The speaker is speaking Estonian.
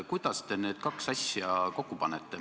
Kuidas te need kaks asja kokku panete?